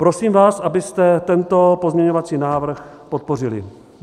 Prosím vás, abyste tento pozměňovací návrh podpořili.